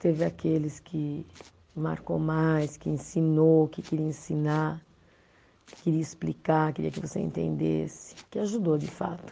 Teve aqueles que marcou mais, que ensinou, que queria ensinar, que queria explicar, queria que você entendesse, que ajudou de fato.